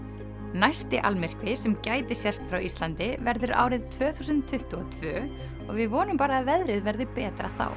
næsti almyrkvi sem gæti sést frá Íslandi verður árið tvö þúsund tuttugu og tvö og við vonum bara að veðrið verði betra þá